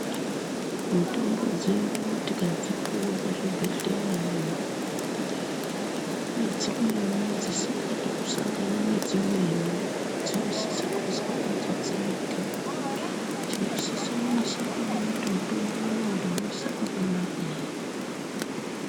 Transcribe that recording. Mitombo dzedu tikadzipuwa kuzvibhedhleyaiyo nedzimweni dzisingadi kusangana nedzimweni dzinosisa kuiswa padzo dzega tinosisa kunasa kuona kuti mutombo uyu ndauisa pakanaka ere.